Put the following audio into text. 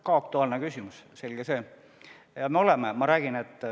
Ka aktuaalne küsimus, selge see!